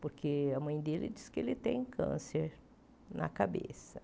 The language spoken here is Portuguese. Porque a mãe dele diz que ele tem câncer na cabeça.